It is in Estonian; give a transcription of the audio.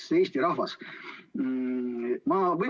Armas Eesti rahvas!